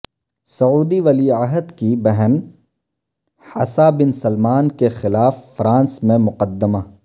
سعودی ولی عہد کی بہن حسابن سلمان کےخلاف فرانس میں مقدمہ